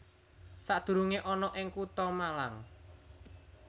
Sadurungé ana ing Kutha Malang